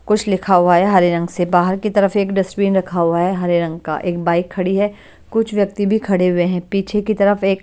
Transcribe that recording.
कुछ लिखा हुआ है हरे रंग से बाहर की तरफ एक डस्टबिन रखा हुआ है हरे रंग का एक बाइक खड़ी है कुछ व्यक्ति भी खड़े हुए हैं पीछे की तरफ एक--